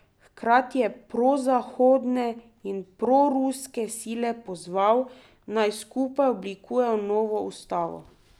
Hkrati je prozahodne in proruske sile pozval, naj skupaj oblikujejo novo ustavo.